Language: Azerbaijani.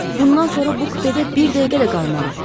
Bundan sonra bu kupedə bir dəqiqə də qalmaram.